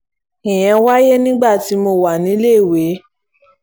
ìyẹn wáyé nígbà tí mo wà níléèwé